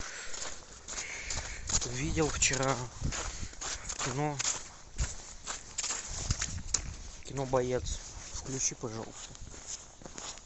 видел вчера в кино кино боец включи пожалуйста